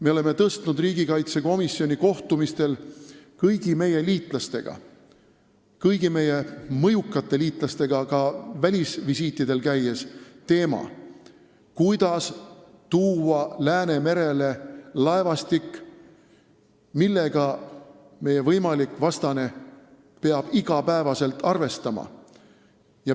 Me oleme tõstnud riigikaitsekomisjoni kohtumistel kõigi meie liitlastega, kõigi meie mõjukate liitlastega ka välisvisiitidel käies teema, kuidas tuua Läänemerele laevastik, millega meie võimalik vastane peab iga päev arvestama.